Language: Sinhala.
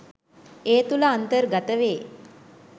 ඒ තුළ අන්තර්ගත වේ